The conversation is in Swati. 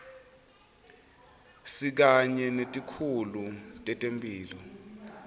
sikanye netikhulu tetemphilo